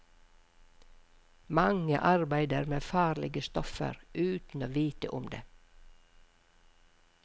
Mange arbeider med farlige stoffer uten å vite om det.